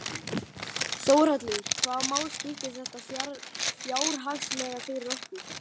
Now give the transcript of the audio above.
Þórhallur: Hvaða máli skiptir þetta fjárhagslega fyrir okkur?